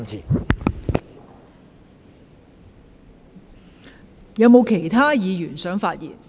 是否有其他議員想發言？